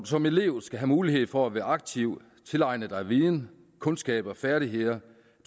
som elev skal have mulighed for at være aktiv og tilegne sig viden kundskaber og færdigheder